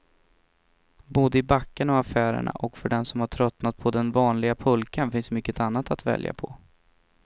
Både i backarna och affärerna, och för den som tröttnat på den vanliga pulkan finns mycket annat att välja på.